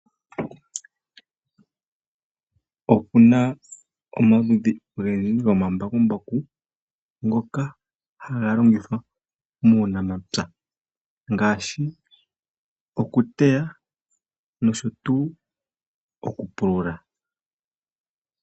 Opuna omaludhi ogendji gomambakumbaku ngoka haga longithwa muunamapya ngaashi okuteya nosho tuu okupulula.